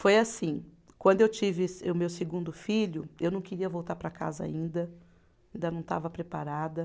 Foi assim, quando eu tive esse, o meu segundo filho, eu não queria voltar para casa ainda, ainda não estava preparada.